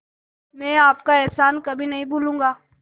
मैं आपका एहसान कभी नहीं भूलूंगा